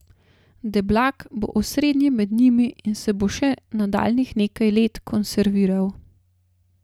Deblak bo osrednji med njimi in se bo še nadaljnjih nekaj let konserviral.